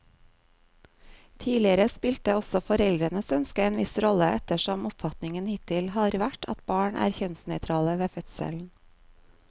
Tidligere spilte også foreldrenes ønske en viss rolle, ettersom oppfatningen hittil har vært at barn er kjønnsnøytrale ved fødselen.